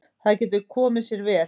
Það getur komið sér vel.